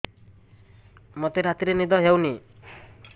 ମୋତେ ରାତିରେ ନିଦ ହେଉନି